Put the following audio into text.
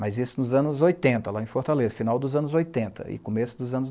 Mas isso nos anos oitenta, lá em Fortaleza, final dos anos oitenta e começo dos anos